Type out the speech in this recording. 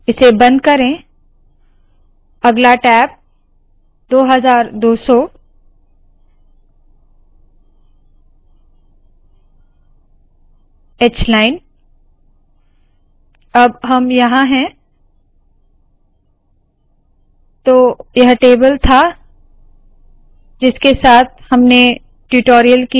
इसे बंद करे अगला टैब 2200 hलाइन